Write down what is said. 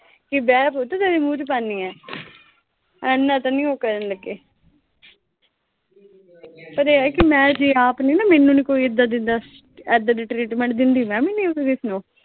ਕਿ ਬਹਿ ਪੁੱਤ ਤੇਰੇ ਮੂੰਹ ਚ ਪਾਨੇ ਆਂ। ਐਨਾ ਤਾਂ ਨੀਂ ਉਹ ਕਰਨ ਲੱਗੇ। ਪਰ ਇਹ ਆ ਕਿ ਮੈਂ ਜੇ ਆਪ ਨੀਂ ਨਾ, ਮੈਨੂੰ ਨੀਂ ਕੋਈ ਐਦਾਂ ਦਿੰਦਾ, ਐਦਾਂ ਦੀ ਟਰੀਟਮੈਂਟ ਦਿੰਦਾ, ਦਿੰਦੀ ਮੈਂ ਵੀ ਨੀਂ ਫਿਰ ਕਿਸੇ ਨੂੰ।